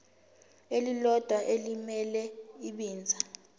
elilodwa elimele ibinzana